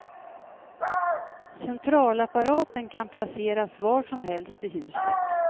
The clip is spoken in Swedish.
Centralapparaten kan placeras var som helst i huset.